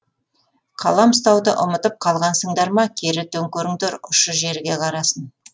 қалам ұстауды ұмытып қалғансыңдар ма кері төңкеріңдер ұшы жерге қарасын